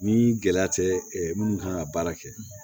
Ni gɛlɛya tɛ minnu kan ka baara kɛ